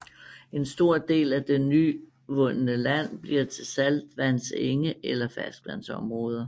En stor del af det nyvundende land bliver til saltvandsenge eller ferskvandsområder